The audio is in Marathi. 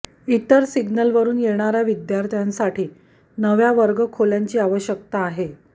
इतर सिग्नलवरून येणाऱ्या विद्यार्थ्यांसाठी नव्या वर्गखोल्यांची आवश्यकता आहे